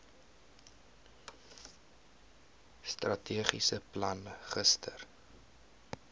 strategiese plan gister